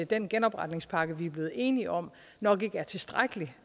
den genopretningspakke vi er blevet enige om nok ikke er tilstrækkelig